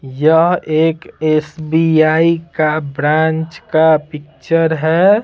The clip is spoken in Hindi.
यह एक एस_बी_आई का ब्रांच का पिक्चर है।